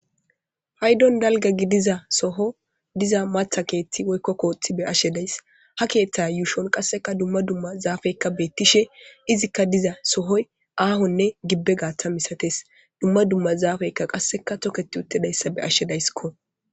Payddon dalga gidiza Soho diza maththa keththi woyko koththi be'ashe de'ays. Ha keththa uushshon qasekka dumma dumma zafekka betishe izikka diza Sohoy aahonne gibbe gaththan misatees. Dumma dumma zafe qasekka tokketidayssa be'ashe de'ayssikko.